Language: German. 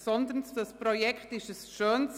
Dieses Projekt ist ein schönes